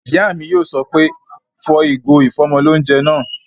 Ìyá mi yóò sọ pé "fọ ìgò ìfọ́mọlóunjẹ náà!"